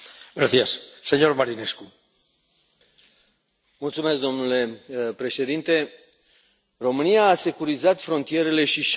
Domnule președinte, România a securizat frontierele și și a îndeplinit angajamentul luat prin tratatul de aderare.